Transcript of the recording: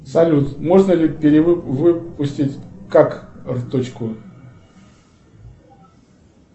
салют можно ли перевыпустить карточку